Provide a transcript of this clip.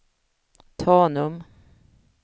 Tanum